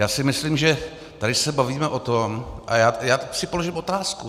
Já si myslím, že se tady bavíme o tom - a já si položím otázku.